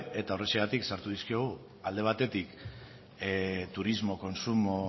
eta horrexegatik sartu dizkiogu alde batetik turismo kontsumo